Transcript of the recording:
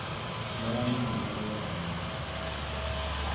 Me anini marĩraga mũno